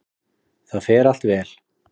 Það fer allt vel.